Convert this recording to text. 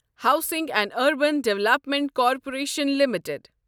housing and Urban Development Corporation limited